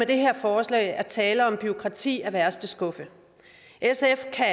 det her forslag er tale om bureaukrati af værste skuffe sf kan